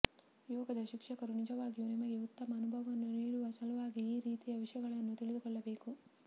ಯೋಗದ ಶಿಕ್ಷಕರು ನಿಜವಾಗಿಯೂ ನಿಮಗೆ ಉತ್ತಮ ಅನುಭವವನ್ನು ನೀಡುವ ಸಲುವಾಗಿ ಈ ರೀತಿಯ ವಿಷಯಗಳನ್ನು ತಿಳಿದುಕೊಳ್ಳಬೇಕು